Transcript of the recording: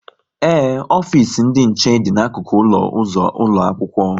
Ee, ofisi ndị nche dị n'akụkụ ụlọ ụzọ ụlọ akwụkwọ